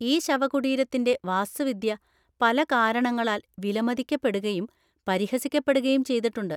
ഈ ശവകുടീരത്തിന്‍റെ വാസ്തുവിദ്യ പല കാരണങ്ങളാൽ വിലമതിക്കപ്പെടുകയും പരിഹസിക്കപ്പെടുകയും ചെയ്തിട്ടുണ്ട്.